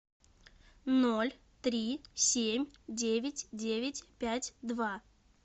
ноль три семь девять девять пять два